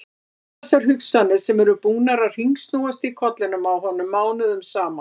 Allar þessar hugsanir sem eru búnar að hringsnúast í kollinum á honum mánuðum saman!